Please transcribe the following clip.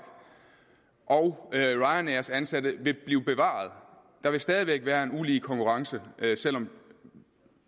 og ryanairs ansatte vil blive bevaret der vil stadig væk være en ulige konkurrence selv om